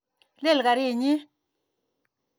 Lel karit nyi.